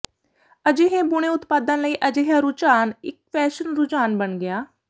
ਅਜਿਹੇ ਬੁਣੇ ਉਤਪਾਦਾਂ ਲਈ ਅਜਿਹਾ ਰੁਝਾਨ ਇੱਕ ਫੈਸ਼ਨ ਰੁਝਾਨ ਬਣ ਗਿਆ